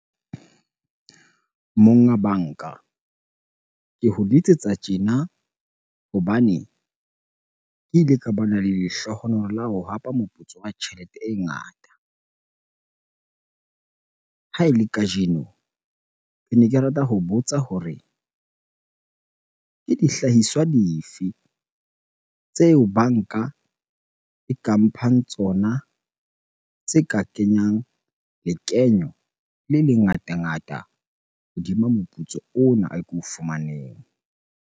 Monga banka, ke ho letsetsa tjena hobane ke ile ka bana le lehlohonolo la ho hapa moputso wa tjhelete e ngata. Ha e le kajeno, kene ke rata ho botsa hore ke dihlahiswa dife tseo bankae ka mphang tsona tse ka kenyang lekeno le lengata ngata hodima moputso ona oo ko fumaneng?